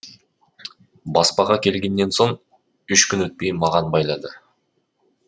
баспаға келгеннен соң үш күн өтпей маған байлады